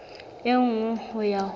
e nngwe ho ya ho